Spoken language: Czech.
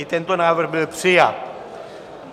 I tento návrh byl přijat.